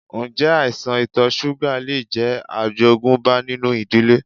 Ǹjẹ́ àìsàn ito súgà lè jẹ́ àjogúnbá nínú ìdílé?